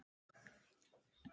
Einsog hún.